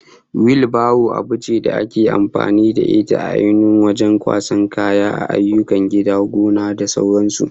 Wil baro abu ce da ake amfani da ita ainun wajen kwasan kaya a ayyukan gida, gona da sauran su